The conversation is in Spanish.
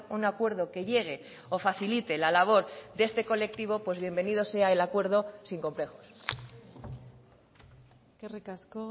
un acuerdo que llegue o facilite la labor de este colectivo pues bienvenido sea el acuerdo sin complejos eskerrik asko